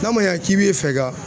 N'a ma ɲɛ k'i be fɛ ka